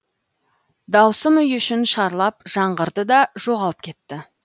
дауысым үй ішін шарлап жаңғырды да жоғалып кетті